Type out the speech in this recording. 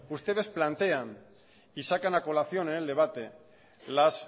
ustedes plantean y sacan a colación en el debate las